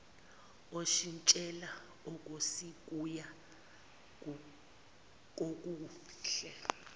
oshintshela okusikuya kokuhle